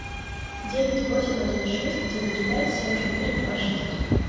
девять восемь один шесть девять пять семь четыре два шесть